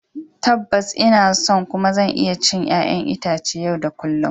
Tabbas, ina son kuma zan iya cin 'ƴa'ƴan itace yau da kullun.